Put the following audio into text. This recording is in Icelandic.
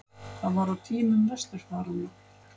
Það var á tímum vesturfaranna.